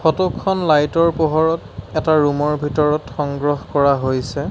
Photo খন light ৰ পোহৰত এটা ৰুম ৰ ভিতৰত সংগ্ৰহ কৰা হৈছে।